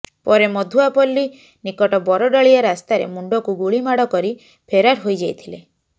ପରେ ମଧୁଆପଲ୍ଲୀ ନିକଟ ବରଡାଳିଆ ରାସ୍ତାରେ ମୁଣ୍ଡକୁ ଗୁଳିମାଡ଼ କରି ଫେରାର ହୋଇଯାଇଥିଲେ